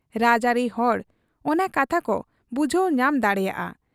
ᱨᱟᱡᱽᱟᱹᱨᱤ ᱦᱚᱲ ᱚᱱᱟ ᱠᱟᱛᱷᱟ ᱠᱚ ᱵᱩᱡᱷᱟᱹᱣ ᱧᱟᱢ ᱫᱟᱲᱮᱭᱟᱫ ᱟ ᱾